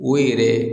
O yɛrɛ